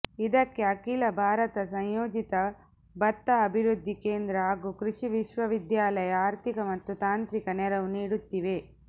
ಇದಕ್ಕೆ ಅಖಿಲ ಭಾರತ ಸಂಯೋಜಿತ ಭತ್ತ ಅಭಿವೃದ್ಧಿ ಕೇಂದ್ರ ಹಾಗೂ ಕೃಷಿ ವಿಶ್ವವಿದ್ಯಾಲಯ ಆರ್ಥಿಕ ಮತ್ತು ತಾಂತ್ರಿಕ ನೆರವು ನೀಡುತ್ತಿವೆ